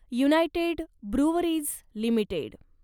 United Breweries limited